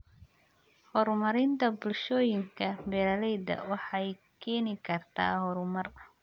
Horumarinta bulshooyinka beeralayda waxay keeni kartaa horumar.